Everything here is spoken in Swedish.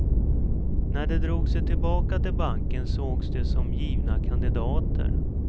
När de drog sig tillbaka till banken sågs de som givna kandidater.